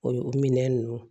O minɛn nunnu